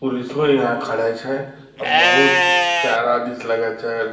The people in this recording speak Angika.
पुलिसबो यहाँ खड़ै छै आ बहुत प्यारा दृश्य लगै छै --